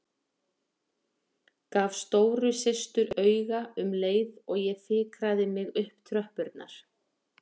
Gaf stóru systur auga um leið og ég fikraði mig upp tröppurnar.